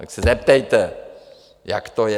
Tak se zeptejte, jak to je!